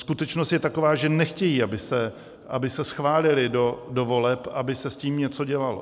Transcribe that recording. Skutečnost je taková, že nechtějí, aby se schválily do voleb, aby se s tím něco dělalo.